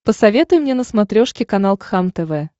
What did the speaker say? посоветуй мне на смотрешке канал кхлм тв